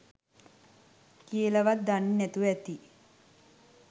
කියල වත් දන්නේ නැතුව ඇති